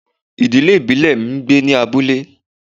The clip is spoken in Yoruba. Ìdílé ìbílẹ̀ mi ń gbé ní abúlé